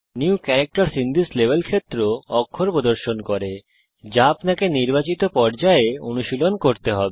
new ক্যারাক্টারসহ in this level ক্ষেত্র অক্ষর প্রদর্শন করে যা আপনাকে নির্বাচিত পর্যায়ে অনুশীলন করতে হবে